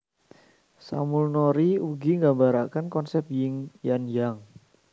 Samulnori ugi nggambaraken konsep Ying lan Yang